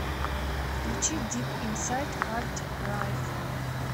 включи дип инсайд хардрайв